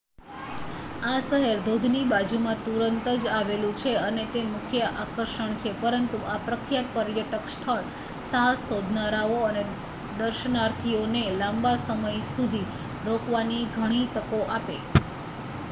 આ શહેર ધોધની બાજુમાં તુરંત જ આવેલું છે અને તે મુખ્ય આકર્ષણ છે પરંતુ આ પ્રખ્યાત પર્યટક સ્થળ સાહસ શોધનારાઓ અને દર્શનાર્થીઓને લાંબા સમય સુધી રોકાવાની ઘણી તકો આપે